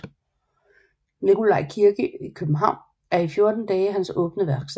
Nikolaj Kirke i København er i 14 dage hans åbne værksted